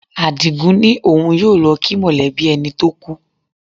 Àdìgún ní òun yóò lọ kí mọ̀lẹ́bí ẹni tó kú